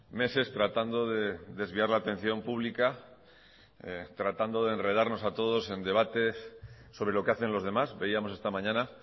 meses tratando de desviar la atención pública tratando de enredarnos a todos en debates sobre lo que hacen los demás veíamos esta mañana